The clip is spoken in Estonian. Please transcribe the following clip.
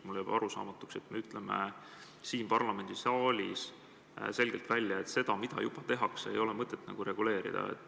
Mulle jääb arusaamatuks, et me ütleme parlamendisaalis selgelt välja, et seda, mida juba tehakse, ei ole mõtet reguleerida.